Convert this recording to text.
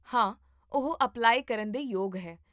ਹਾਂ, ਉਹ ਅਪਲਾਈ ਕਰਨ ਦੇ ਯੋਗ ਹੈ